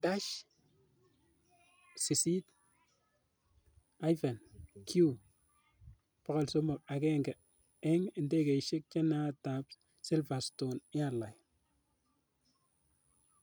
Dash 8-Q300 agenge eng' ndegeisiek chenaat ap Slverstone airline.